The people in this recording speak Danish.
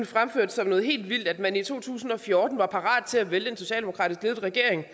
fremført som noget helt vildt at man i to tusind og fjorten var parat til at vælte en socialdemokratisk ledet regering